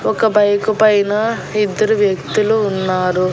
ఒక బైకు పైన ఇద్దరు వ్యక్తులు ఉన్నారు.